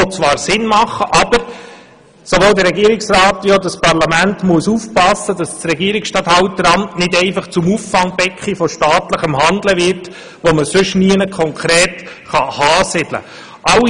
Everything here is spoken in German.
Diese machen zwar Sinn, aber sowohl der Regierungsrat wie auch das Parlament müssen aufpassen, dass das Regierungsstatthalter nicht einfach zum Auffangbecken von staatlichem Handeln wird, das man sonst nirgendwo konkret ansiedeln kann.